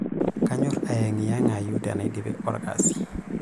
Kanyorr ayeng'iyeng'ai tenaidip olkasi.